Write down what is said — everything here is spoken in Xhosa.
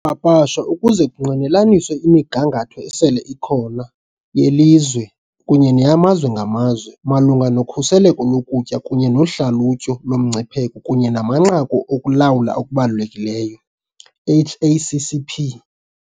Yapapashwa ukuze kungqinelaniswe imigangatho esele ikhona, yelizwe kunye neyamazwe ngamazwe, malunga nokhuseleko lokutya kunye nohlalutyo lomngcipheko kunye namanqaku okulawula okubalulekileyo, HACCP.